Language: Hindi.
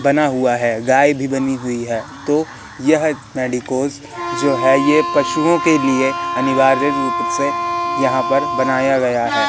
बना हुआ है गाय भी बनी हुई है तो यह मेडिकोज जो है यह पशुओं के लिए अनिवार्य रूप से यहां पर बनाया गया है।